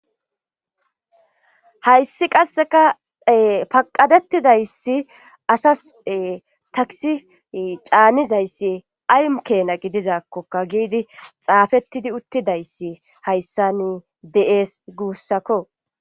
Hayssi qasseka paqqadettidayssi asas ee takssi caanizayssi ay keena gidizaakkoka giidi xaafettidi uttidayssi hayssani de7ees guussako